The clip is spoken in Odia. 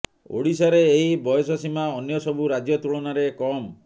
ଓ଼ଡ଼ିଶାରେ ଏହି ବୟସସୀମା ଅନ୍ୟ ସବୁ ରାଜ୍ୟ ତୁଳନାରେ କମ୍